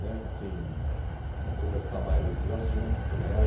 né assim de conversar mais desses assuntos com ela.